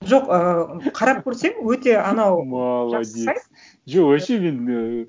жоқ ыыы қарап көрсең өте анау молодец жақсы сайт жоқ вообще мен ііі